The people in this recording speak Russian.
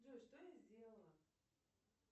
джой что я сделала